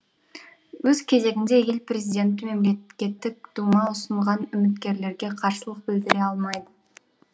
өз кезегінде ел президенті мемлекеттік дума ұсынған үміткерлерге қарсылық бідіре алмайды